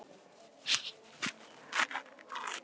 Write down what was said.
Enginn dagur öðrum líkur.